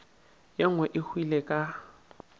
ye nngwe e hwile ka